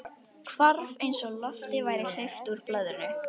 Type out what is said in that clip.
Hvarf eins og lofti væri hleypt úr blöðru.